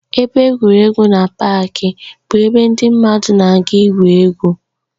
Ebe egwuregwu na páaki bụ ebe ndị mmadụ na-aga igwu egwu